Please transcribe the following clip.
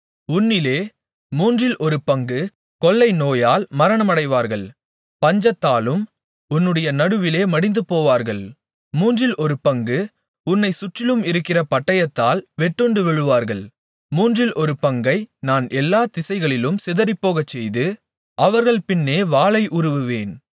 உன்னிலே மூன்றில் ஒரு பங்கு கொள்ளை நோயால் மரணமடைவார்கள் பஞ்சத்தாலும் உன்னுடைய நடுவிலே மடிந்துபோவார்கள் மூன்றில் ஒரு பங்கு உன்னைச் சுற்றிலும் இருக்கிற பட்டயத்தால் வெட்டுண்டு விழுவார்கள் மூன்றில் ஒரு பங்கை நான் எல்லா திசைகளிலும் சிதறிப்போகச்செய்து அவர்கள் பின்னே வாளை உருவுவேன்